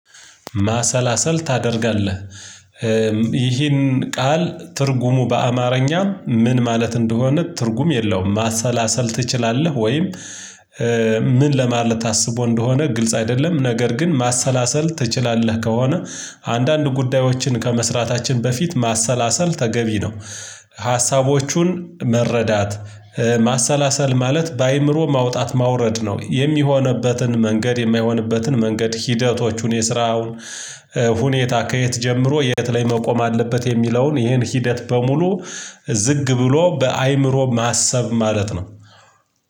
ማሰላሰል ታደርጋለህ? ይህን ቃል ትርጉሙ በአማርኛ ምን ማለት እንደሆነ ትርጉም የለውም ማሰላሰል ትችላለህ ወይም? ምን ለማለት ታስቦ እንደሆነ ግልጽ አይደለም ነገር ግን ማሰላሰል ትችላለህ ከሆነ አንዳንድ ጉዳዮችን ከመስራታችን በፊት ማሰላሰል ተገቢ ነው። ሀሳቦቹን መረዳት ማሰላሰል ማለት በአእምሮ ማውጣት ማውረድ ነው የሚሆንበትን መንገድ የማይሆንበትን መንገድ ሂደቶቹን የስራውን። ከየት ጀምሮ የት ላይ መቆም አለበት? የሚለውን ይሄን ሂደት በሙሉ ዝግ ብሎ በአእምሮ ማሰብ ማለት ነው።